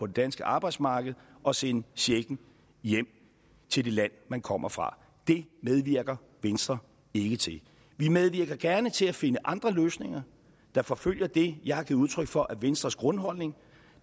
danske arbejdsmarked og sende checken hjem til det land man kommer fra det medvirker venstre ikke til vi medvirker gerne til at finde andre løsninger der forfølger det jeg har givet udtryk for er venstres grundholdning